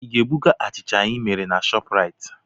Ị ga-ebuga achịcha ị mere na Shọpraịt?